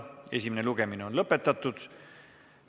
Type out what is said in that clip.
Esimene lugemine on lõppenud.